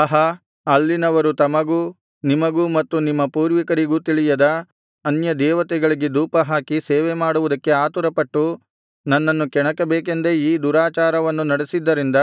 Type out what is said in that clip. ಆಹಾ ಅಲ್ಲಿನವರು ತಮಗೂ ನಿಮಗೂ ಮತ್ತು ನಿಮ್ಮ ಪೂರ್ವಿಕರಿಗೂ ತಿಳಿಯದ ಅನ್ಯದೇವತೆಗಳಿಗೆ ಧೂಪಹಾಕಿ ಸೇವೆಮಾಡುವುದಕ್ಕೆ ಆತುರಪಟ್ಟು ನನ್ನನ್ನು ಕೆಣಕಬೇಕೆಂದೇ ಈ ದುರಾಚಾರವನ್ನು ನಡೆಸಿದ್ದರಿಂದ